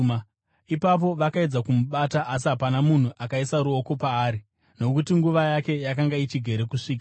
Ipapo vakaedza kumubata, asi hapana munhu akaisa ruoko paari, nokuti nguva yake yakanga ichigere kusvika.